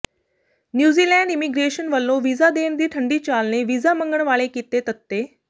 New Zealand immigration ਵੱਲੋਂ visa ਦੇਣ ਦੀ ਠੰਢੀ ਚਾਲ ਨੇ ਵੀਜ਼ਾ ਮੰਗਣ ਵਾਲੇ ਕੀਤੇ ਤੱਤੇ